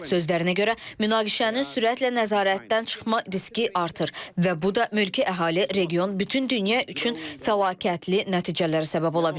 Sözlərinə görə, münaqişənin sürətlə nəzarətdən çıxma riski artır və bu da mülki əhali, region, bütün dünya üçün fəlakətli nəticələrə səbəb ola bilər.